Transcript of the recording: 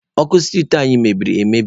Ọkụ street anyị meberi emebi.